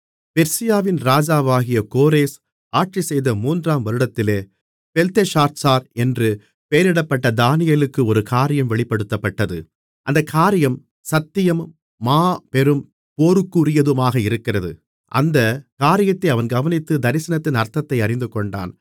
பெர்சியாவின் ராஜாவாகிய கோரேஸ் ஆட்சிசெய்த மூன்றாம் வருடத்திலே பெல்தெஷாத்சார் என்று பெயரிடப்பட்ட தானியேலுக்கு ஒரு காரியம் வெளிப்படுத்தப்பட்டது அந்தக் காரியம் சத்தியமும் மாபெரும் போருக்குரியதுமாக இருக்கிறது அந்தக் காரியத்தை அவன் கவனித்து தரிசனத்தின் அர்த்தத்தை அறிந்துகொண்டான்